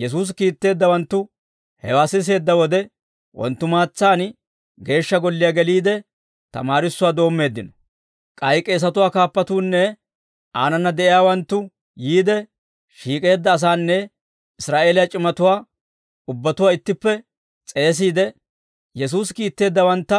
Yesuusi kiitteeddawanttu hewaa siseedda wode, wonttumaatsaan Geeshsha Golliyaa geliide, tamaarissanaw doommeeddino. K'ay k'eesatuwaa kaappuunne aanana de'iyaawanttu yiide, shiik'eedda asaana Israa'eeliyaa c'imatuwaa ubbatuwaa ittippe s'eesiide, Yesuusi kiitteeddawantta